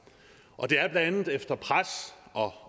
det er blandt andet efter pres og